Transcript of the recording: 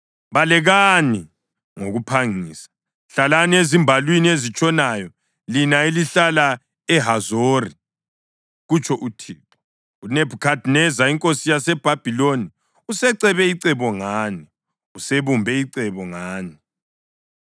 Balekani ngokuphangisa! Hlalani ezimbalwini ezitshonayo, lina elihlala eHazori,” kutsho uThixo. “UNebhukhadineza inkosi yaseBhabhiloni usecebe icebo ngani, usebumbe icebo ngani.